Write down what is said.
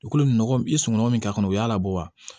I kolo nɔgɔ i sunɔgɔ min ka kɔnɔ o y'a labɔ wa